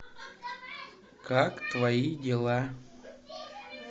как твои дела